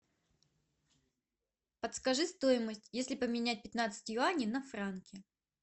подскажи стоимость если поменять пятнадцать юаней на франки